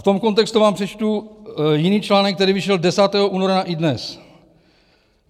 V tom kontextu vám přečtu jiný článek, který vyšel 10. února v iDnes.